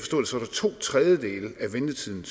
to tredjedele af ventetiden